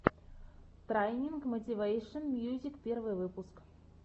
трайнинг мотивэйшен мьюзик первый выпуск